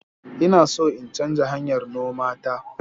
Ina so in canza hanyar noma ta.